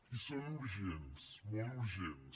i són urgents molt urgents